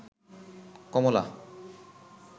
কমলা